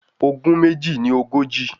Ogún méjì ní ogójì.